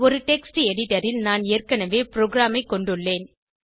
ஒரு text editor ல் நான் ஏற்கனவே ப்ரோகிராமைக் கொண்டுள்ளேன்